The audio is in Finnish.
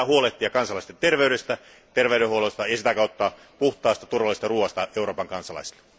Meidän pitää huolehtia kansalaisten terveydestä, terveydenhuollosta ja sitä kautta puhtaasta, turvallisesta ruoasta Euroopan kansalaisille.